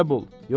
çarə bul!